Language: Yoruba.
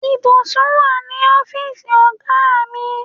Ìbùsùn wà ní ọ́fíìsì ọ̀gá mi.